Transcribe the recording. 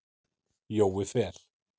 Jói Fel.